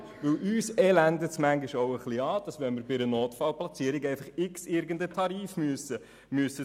Denn uns beelendet es manchmal, wenn wir für eine Notfallplatzierung einen beliebigen Preis bezahlen müssen.